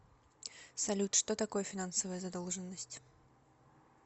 салют что такое финансовая задолженность